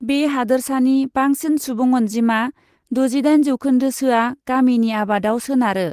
बे हादोरसानि बांसिन सुबुं अनजिमा, द'जिदाइन जौखोन्दोसोआ गामिनि आबादाव सोनारो।